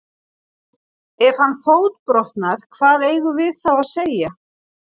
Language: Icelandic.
Ef að hann fótbrotnar hvað eigum við þá að segja?